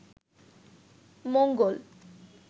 মঙ্গল